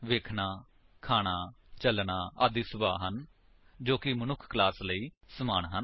ਵੇਖਣਾ ਖਾਨਾ ਚੱਲਣਾ ਆਦਿ ਸੁਭਾਅ ਹਨ ਜੋ ਕਿ ਮਨੁੱਖ ਕਲਾਸ ਲਈ ਸਮਾਨ ਹਨ